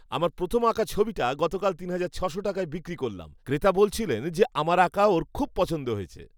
আমার প্রথম আঁকা ছবিটা গতকাল তিন হাজার ছশো টাকায় বিক্রি করলাম। ক্রেতা বলছিলেন যে আমার আঁকা ওঁর খুব পছন্দ হয়েছে!